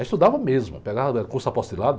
Aí estudava mesmo, pegava curso apostilado,